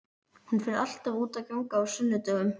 Hún fer alltaf út að ganga á sunnudögum.